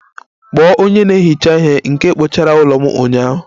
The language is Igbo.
Kpọọ onye na-ehicha ihe nke kpochara ụlọ m ụnyaahụ!